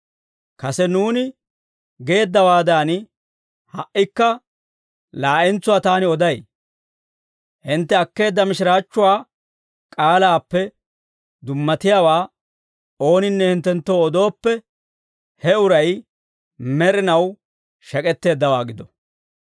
Kase nuuni geeddawaadan, ha"ikka laa'entsuwaa taani oday; hintte akkeedda mishiraachchuwaa k'aalaappe dummatiyaawaa ooninne hinttenttoo odooppe, he uray med'inaw shek'etteeddawaa gido.